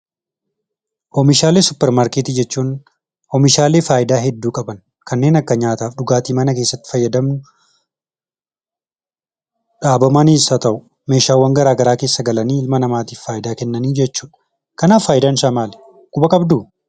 Oomishaalee "suuper maarkeetii"jechuun: Omishaalee faayidaa hedduu qaban, kanneen akka nyaataaf dhugaatii mana keessatti fayyadamnu dhaabamaniis ha ta'u, meeshaalee garagaraa keessa galanii ilma namaatiif faayidaa Kennan jechuudha. Kanaaf faayidaan isaa maali quba qabduu?